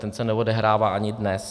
ten se neodehrává ani dnes.